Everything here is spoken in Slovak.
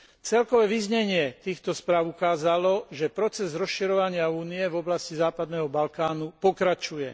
Celkové vyznenie týchto správ ukázalo, že proces rozširovania Únie v oblasti Západného Balkánu pokračuje.